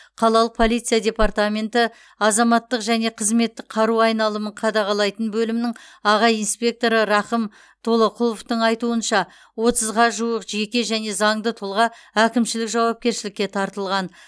қалалық полиция департаменті азаматтық және қызметтік қару айналымын қадағалайтын бөлімнің аға инспекторы рақым толоқұловтың айтуынша отызға жуық жеке және заңды тұлға әкімшілік жауапкершілікке тартылған